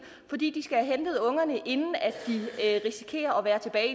fordi de skal have hentet ungerne inden de risikerer at være tilbage i